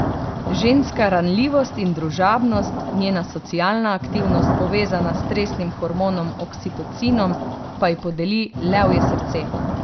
Ženska ranljivost in družabnost, njena socialna aktivnost, povezana s stresnim hormonom oksitocinom, pa ji podeli levje srce.